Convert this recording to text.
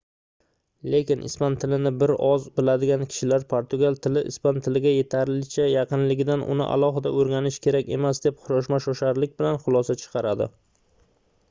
lekin ispan tilini bir oz biladigan kishilar portugal tili ispan tiliga yetarlicha yaqinligidan uni alohida oʻrganish kerak emas deb shoshma-shosharlik bilan xulosa chiqaradi